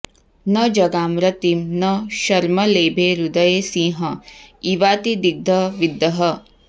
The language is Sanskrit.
न जगाम रतिं न शर्म लेभे हृदये सिंह इवातिदिग्धविद्धः